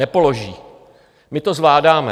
Nepoloží, my to zvládáme.